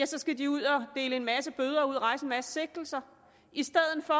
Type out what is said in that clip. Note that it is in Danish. så skal de ud og dele en masse bøder ud og rejse en masse sigtelser i stedet for